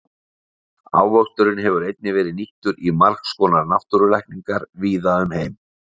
Ávöxturinn hefur einnig verið nýttur í margs konar náttúrulækningar víða um heim.